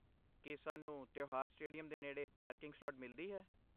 ਕੀ ਸਾਨੂੰ ਤਿਉਹਾਰ ਸਟੇਡੀਅਮ ਦੇ ਨੇੜੇ ਪਾਰਕਿੰਗ ਸਲਾਟ ਮਿਲਦੀ ਹੈ?